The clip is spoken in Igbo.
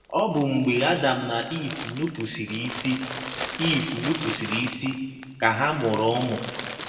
Ọ bụ mgbe Adam na Iv nupụsịrị isi Iv nupụsịrị isi ka ha mụrụ ụmụ